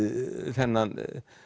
þennan